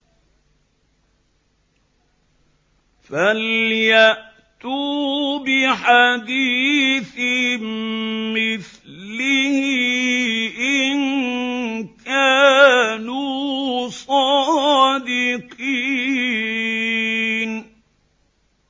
فَلْيَأْتُوا بِحَدِيثٍ مِّثْلِهِ إِن كَانُوا صَادِقِينَ